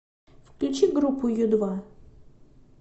включи группу ю два